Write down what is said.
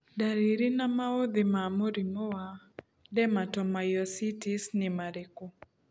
Ndariri na maũthĩ ma mũrimũ wa Dermatomyositis nĩ marĩkũ ?